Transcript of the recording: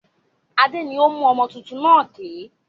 Adé ni ó mú ọmọ tuntun náà ké.